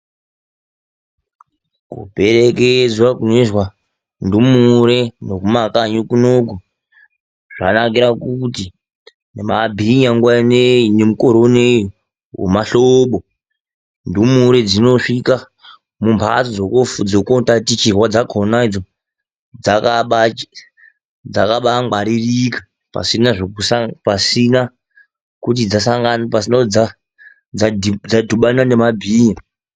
Kuperekedzwa kunoitwa ndumure kumakanyi kunoku zvakanakira kuti nemabhinya nguva inei nemukore unou wemahlobo ,ndumure dzinosvika mumhatso dzokootatichirwa dzakhonadzo dzakaamba ngwaririka pasina kuti dzadhibana nemabhinya